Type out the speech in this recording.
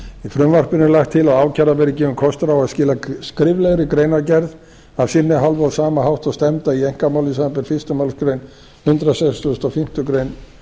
frumvarpinu er lagt til að ákærða verði gefinn kostur á að skila skriflegri greinargerð af sinni hálfu á sama hátt og stefnda í einkamálum samanber fyrstu málsgrein hundrað sextugasta og fimmtu grein